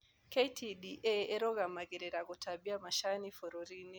KTDA ĩrũgamagĩrĩra gũtambia macani bũrũrinĩ.